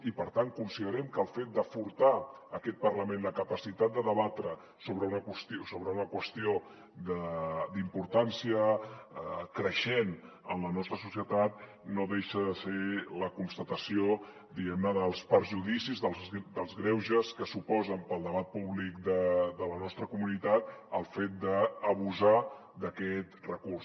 i per tant considerem que el fet de furtar aquest parlament la capacitat de debatre sobre una qüestió d’importància creixent en la nostra societat no deixa de ser la constatació diguem ne dels perjudicis dels greuges que suposen per al debat públic de la nostra comunitat el fet d’abusar d’aquest recurs